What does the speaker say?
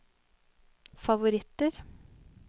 favoritter